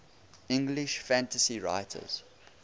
english fantasy writers